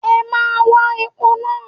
O máa wa epo náà.